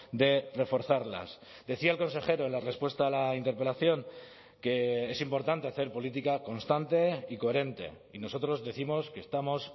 de reforzarlas decía el consejero en la respuesta a la interpelación que es importante hacer política constante y coherente y nosotros décimos que estamos